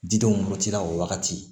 Didenw mɔti la o wagati